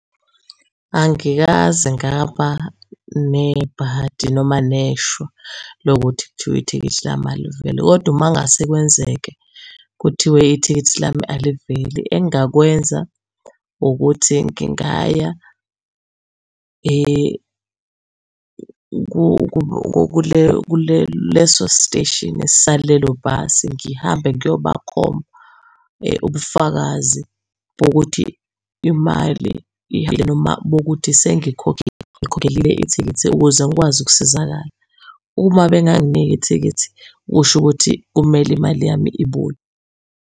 Angikaze ngaba nebhadi noma neshwa lokuthi kuthiwe ithikithi lami aliveli, kodwa uma ngase kwenzeke kuthiwe ithikithi lami aliveli engakwenza ukuthi ngingaya kuleso siteshini salelo bhasi. Ngihambe ngiyobakhomba ubufakazi bokuthi imali ihambile noma bokuthi ngikhokhelile ithikithi ukuze ngikwazi ukusizakala. Uma bengangniki ithikithi kusho ukuthi kumele imali yami ibuye.